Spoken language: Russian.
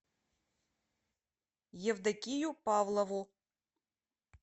евдокию павлову